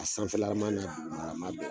A sanfɛlama na dugumarama bɛɛ